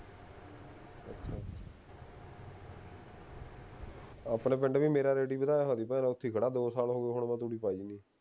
ਆਪਣੇ ਪਿੰਡ ਵੀ ਮੇਰਾ ਰਖੀ ਖੜਾ ਦੋ ਸਾਲ ਹੋ ਗਏ ਹੁਣ ਮੈਂ ਤੂੜੀ ਪਾਈ